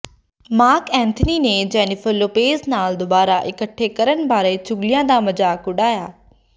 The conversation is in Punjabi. ਮਾਰਕ ਐਂਥਨੀ ਨੇ ਜੈਨੀਫ਼ਰ ਲੋਪੇਜ਼ ਨਾਲ ਦੁਬਾਰਾ ਇਕੱਠੇ ਕਰਨ ਬਾਰੇ ਚੁਗ਼ਲੀਆਂ ਦਾ ਮਜ਼ਾਕ ਉਡਾਇਆ